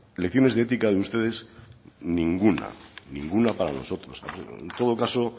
lecciones de éticas de ustedes ninguna ninguna para nosotros en todo caso